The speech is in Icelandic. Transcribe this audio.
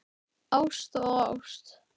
Ást og ást.